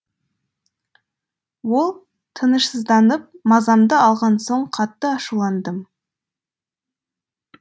ол тынышсызданып мазамды алған соң қатты ашуландым